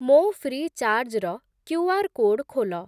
ମୋ ଫ୍ରି'ଚାର୍ଜ୍‌ ର QR code ଖୋଲ।